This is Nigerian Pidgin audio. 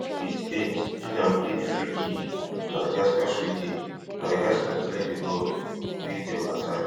eighty-eight jordan play di freekick madagascar freekick madagascar clear di ball wey dem attack